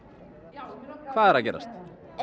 já hvað er að gerast